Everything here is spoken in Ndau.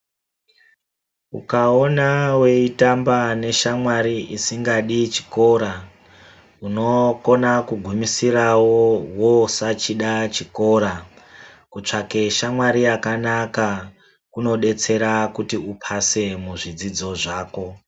Ukaona weitamba neshamwari isingadi chikora unokona kugumisirawo wosachida chikora kutsvake shamwari yakanaka kunodetsera kuti upase muzvidzidzo zvako.